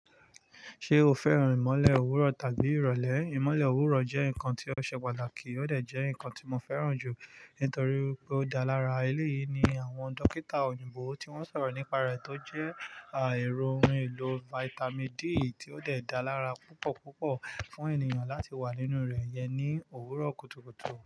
Ṣé o fẹ́ràn ìmọ̀le òwúrọ̀ tàbí ìrọ̀lẹ́? Ìmọ̀le òwúrọ̀ jẹ́ nǹkan tí ó ṣe pàtàkì, ó dè jẹ́ nǹkan tí mo fẹ́ràn jù nítorí wipé ó dá lára. Eléyìí ni àwọn dókítà òyìnbó tí wọ́n sọ̀rọ̀ nípa rẹ̀ tó jẹ́ èrò ohùn elò Vitamin D tí ó dè dá lára púpọ̀púpọ̀ fún ènìyàn láti wà nínú rẹ̀ iyẹn ní òwúrọ̀ kùtùkùtù.